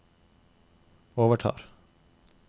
overtar